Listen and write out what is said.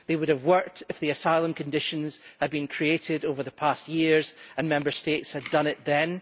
They would have worked if the asylum conditions had been created over the past years and Member States had done it then.